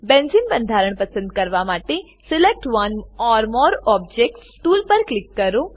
benzene બંધારણ પસંદ કરવા માટે select one or more objects select one or more objects tool પર ક્લિક કરો